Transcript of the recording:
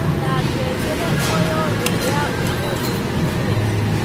ndĩna ngengere o yothe ya ũmũthĩ njĩkĩre